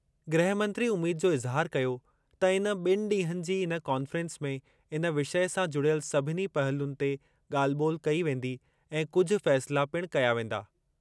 गृह मंत्री उमीद जो इज़हार कयो त इन बि॒नि ॾींहनि जी इन कॉन्फ़्रेंस में इन विषय सां जुड़ियल सभिनी पहलुअनि ते ॻाल्हि ॿोल्हि कई वेंदी ऐं कुझु फ़ैसिला पिणु कया वेंदा।